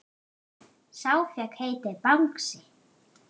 Sá fékk heitið Bangsi.